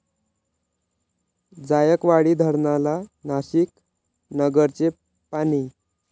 जायकवाडी धरणाला नाशिक, नगरचे पाणी